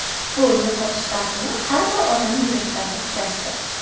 Bu yo‘qotish dardini har bir odam yuragidan o‘tkazdi.